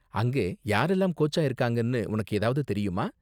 அங்கே யாரெல்லாம் கோச்சா இருக்காங்கனு உனக்கு ஏதாவது தெரியுமா?